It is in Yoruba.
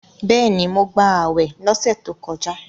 Bẹ́ẹ̀ni, mo gbàwè lọ́sẹ̀ tó kọjá